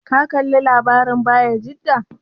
Ka kalla labarin Bayajida?